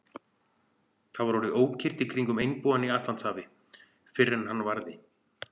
Það var orðið ókyrrt í kringum einbúann í Atlantshafi, fyrr en hann varði.